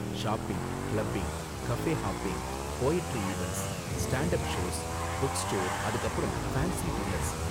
Shopping, clubbing, cafe hopping, poetry events, stand up shows, book store, அதுக்கு அப்பறம் fancy dinners.